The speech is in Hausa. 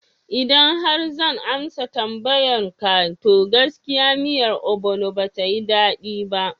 Idan har zan amsa tambayan ka, to gaskiya miyar obono batayi daɗi ba